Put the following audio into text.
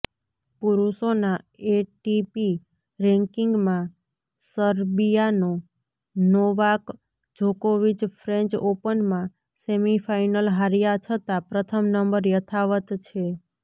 પુરૂષોના ATP રેન્કિંગમાં સર્બિયાનો Novak જોકોવિચ ફ્રેન્ચ ઓપનમાં સેમીફાઇનલ હાર્યા છતાં પ્રથમ નંબર યથાવત છે